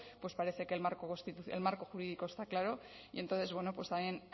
parece que el marco jurídico está claro y entonces bueno pues también